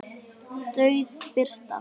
Dauf birta.